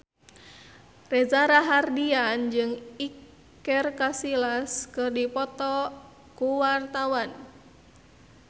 Reza Rahardian jeung Iker Casillas keur dipoto ku wartawan